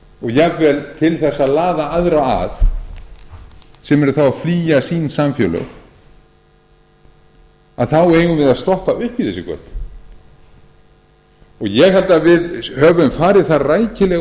og jafnvel til þess að laða aðra að sem eru þá að flýja sín samfélög eigum við að stoppa upp í þessi göt ég held að við höfum farið það rækilega